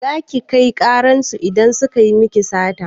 Za ki kai ƙarar su idan suka yi miki sata?